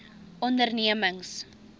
ondernemings